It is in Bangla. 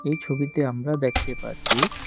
এই ছবিতে আমরা দেখতে পারছি--